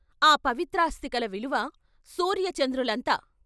" ఆ పవిత్రాస్థికల విలువ సూర్య చంద్రులంత.